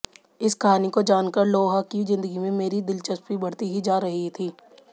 इस कहानी को जानकर लोहा की जिंदगी में मेरी दिलचस्पी बढ़ती ही जा रही थी